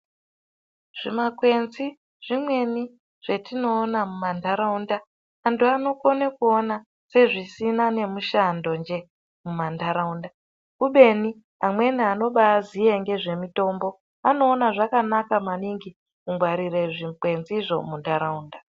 Zvimakwenzi zvimweni zvetinoona mumantaraunda, anthu anokone kuona sezvisina nemushando nje mumantaraunda kubeni amweni anobaaziya ngezvemutombo anoona zvakanaka maningi kungwarire zvikwenzi zvo muntaraunda.